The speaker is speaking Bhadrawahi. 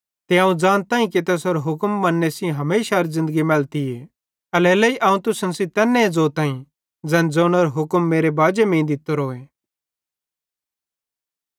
ते अवं ज़ानताईं कि तैसेरो हुक्म मन्ने सेइं हमेशारी ज़िन्दगीए मैलतीए एल्हेरेलेइ अवं तुसन सेइं तैन्ने ज़ोताईं ज़ैन ज़ोनेरो हुक्म मेरे बाजे मीं दित्तोरोए